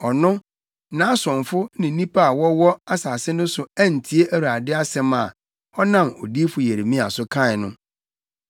Ɔno, nʼasomfo ne nnipa a wɔwɔ asase no so antie Awurade asɛm a ɔnam odiyifo Yeremia so kae no.